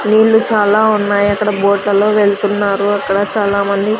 నీళ్ళు చాలా ఉన్నాయి అక్కడ బోట్ లలో వెళ్తున్నారు అక్కడ చాలా మంది.